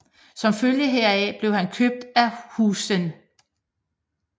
Som følge heraf blev han købt af Huizen